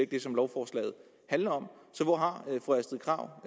det som lovforslaget handler om så hvor har fru astrid krag